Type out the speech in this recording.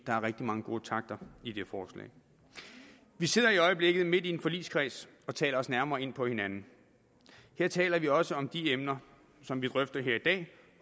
der er rigtig mange gode takter i det forslag vi sidder i øjeblikket i en forligskreds og taler os nærmere ind på hinanden der taler vi også om de emner som vi drøfter her i dag